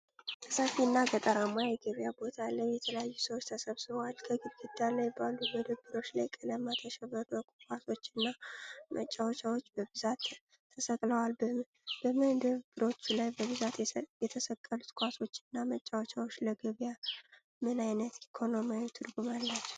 ሰፊና ገጠራማ የገበያ ቦታ ላይ የተለያዩ ሰዎች ተሰብስበዋል። ከግድግዳ ላይ ባሉ መደብሮች ላይ፣ በቀለማት ያሸበረቁ ኳሶችና መጫወቻዎች በብዛት ተሰቅለዋልበመደብሮች ላይ በብዛት የተሰቀሉት ኳሶችና መጫወቻዎች ለገበያው ምን ዓይነት ኢኮኖሚያዊ ትርጉም አላቸው?